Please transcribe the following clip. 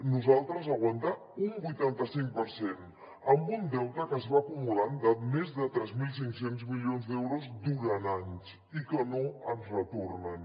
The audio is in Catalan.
nosaltres aguantar un vuitanta cinc per cent amb un deute que es va acumulant de més de tres mil cinc cents milions d’euros durant anys i que no ens retornen